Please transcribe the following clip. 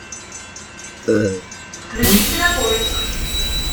включи кинопоиск